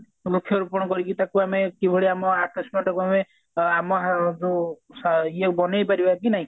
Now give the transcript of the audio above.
ବୃକ୍ଷ ରୋପଣ କରିକି ତାକୁ ଆମେ କିଭଳି ଆମେ ଆମ ଯୋଉ ଇଏ ବନେଇ ପାରିବା କି ନାଇଁ